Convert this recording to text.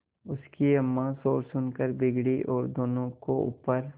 उनकी अम्मां शोर सुनकर बिगड़ी और दोनों को ऊपर